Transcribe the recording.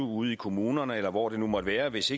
ude i kommunerne eller hvor det nu måtte være hvis